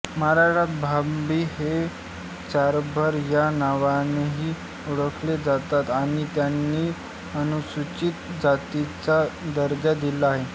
महाराष्ट्रात भांबी हे चांभार या नावानेही ओळखले जातात आणि त्यांनी अनुसूचित जातीचा दर्जा दिला आहे